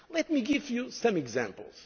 activity. Let me give you some